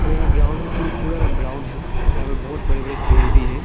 और यहां ग्राउंड भी पूरा ब्राउन है और यहां बड़े बड़े पेड़ भी है।